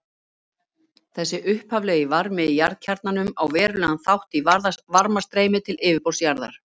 Þessi upphaflegi varmi í jarðkjarnanum á verulegan þátt í varmastreymi til yfirborðs jarðar.